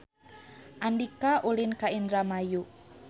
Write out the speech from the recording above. Andika ulin ka Indramayu